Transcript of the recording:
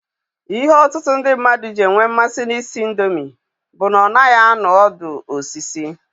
Ihe ọtụtụ ndị mmadụ ji enwe mmasị na ị sị indomi bụ na ọ naghị anụ ọdụ osisi.